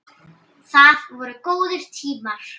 Það voru góðir tímar.